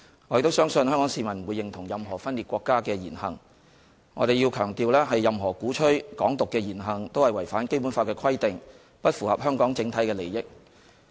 我亦相信香港市民不會認同任何分裂國家的言行，我要強調，任何鼓吹"港獨"的言行也是違反《基本法》的規定，不符合香港整體利益。